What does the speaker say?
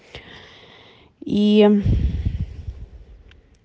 и